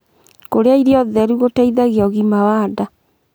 Kurĩa irio theru gũteithagia ũgima wa ndaa